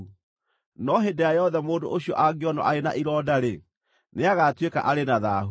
No hĩndĩ ĩrĩa yothe mũndũ ũcio angĩonwo arĩ na ironda-rĩ, nĩagatuĩka arĩ na thaahu.